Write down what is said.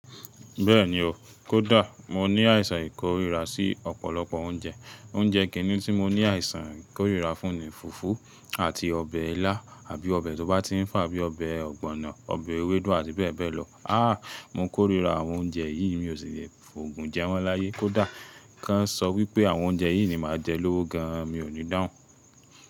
Bẹ́ẹ̀ni o, kó dà. Mo ní àìsàn ìkórira sí ọ̀pọ̀lọpọ̀ oúnjẹ. Oúnjẹ kìnní tí mo ní àìsàn ìkórira fún ni fùfú àti ọbẹ̀ ilá àbí ọbẹ̀ tó bá ti ń fà bí i ọbẹ̀ ọ̀gbọ̀nọ̀, ọbẹ̀ ewédú àti bẹ́ẹ̀ bẹ́ẹ̀ lọ. Mo kórira àwọn oúnjẹ yìí, mi ò sì le fòògun jẹ wọ́n láyé. Kó dà, kán sọ wípé àwọn oúnjẹ yìí ni màá jẹ lówó gan an, mi ò ní dáhùn.